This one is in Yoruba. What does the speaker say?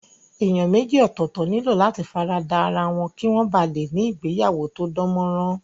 Èèyàn méjì ọ̀tọ̀ọ̀tọ̀ nílò láti fara da ra wọn kí wọ́n ba lè ní ìgbéyàwó tó dán mọ́ rán